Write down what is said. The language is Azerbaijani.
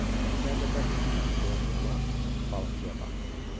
Özləri də bərk yatırlar, deyə oğlan balıqçıya baxdı.